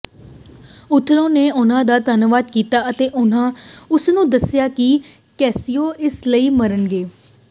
Othello ਨੇ ਉਹਨਾਂ ਦਾ ਧੰਨਵਾਦ ਕੀਤਾ ਅਤੇ ਉਸਨੂੰ ਦੱਸਿਆ ਕਿ ਕੈਸੀਓ ਇਸ ਲਈ ਮਰਨਗੇ